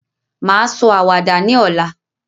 Mà á sọ àwàdà ní ọ̀la.